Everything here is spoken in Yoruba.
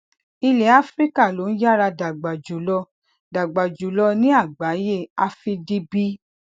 ilẹ áfíríkà ló ń yára dàgbà jùlọ dàgbà jùlọ ní àgbáyé afdb